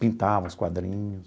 Pintava os quadrinhos.